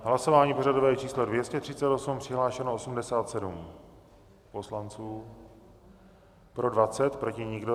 Hlasování pořadové číslo 238, přihlášeno 87 poslanců, pro 20, proti nikdo.